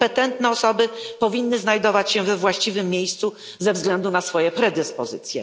Kompetentne osoby powinny znajdować się we właściwym miejscu ze względu na swoje predyspozycje.